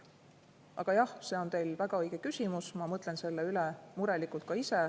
Aga jah, see on teil väga õige küsimus, ma mõtlen selle üle murelikult ka ise.